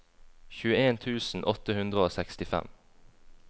tjueen tusen åtte hundre og sekstifem